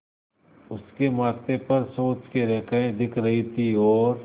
उसके माथे पर सोच की रेखाएँ दिख रही थीं और